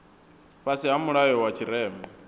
fhasi ha mulayo wa tshirema